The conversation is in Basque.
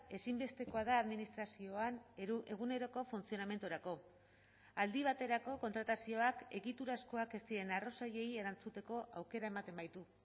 ezinbestekoa da administrazioan eguneroko funtzionamendurako aldi baterako kontratazioak egiturazkoak ez diren arrazoiei erantzuteko aukera ematen baitu